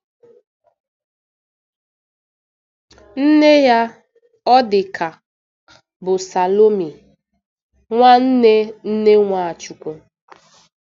Nne ya, ọ dị ka, bụ Salome, nwanne nne Nwachukwu.